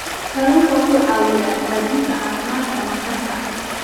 Kalluunku wuxuu caawiyaa hagaajinta caafimaadka maqaarka.